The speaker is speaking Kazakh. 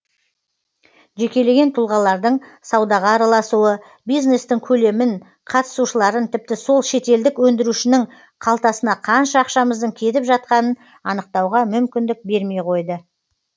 жекелеген тұлғалардың саудаға араласуы бизнестің көлемін қатысушыларын тіпті сол шетелдік өндірушінің қалтасына қанша ақшамыздың кетіп жатқанын анықтауға мүмкіндік бермей қойды